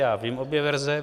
Já vím obě verze.